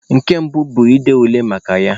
Nke mbụ bu ịde ule maka ya.